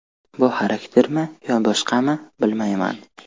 Bu xaraktermi yoki boshqami bilmayman.